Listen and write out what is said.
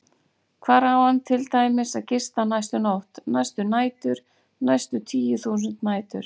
Hvar á hann til dæmis að gista næstu nótt, næstu nætur, næstu tíu þúsund nætur?